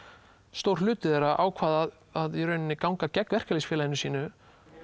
stór hluti þeirra ákvað að ganga gegn verkalýðsfélagi sínu